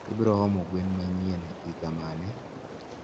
ibroomo gwen manyien hiengmane?